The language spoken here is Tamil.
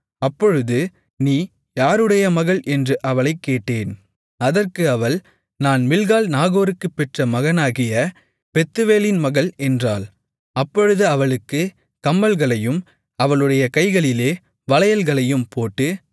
அப்பொழுது நீ யாருடைய மகள் என்று அவளைக் கேட்டேன் அதற்கு அவள் நான் மில்க்காள் நாகோருக்குப் பெற்ற மகனாகிய பெத்துவேலின் மகள் என்றாள் அப்பொழுது அவளுக்குக் கம்மல்களையும் அவளுடைய கைகளிலே வளையல்களையும் போட்டு